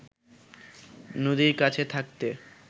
নদীর কাছে থাকতে